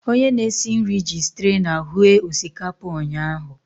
Onye na-esi nri ji streena hue osikapa ụnyahụ.